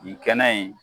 Nin kɛnɛ in